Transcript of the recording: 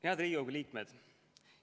Head Riigikogu liikmed!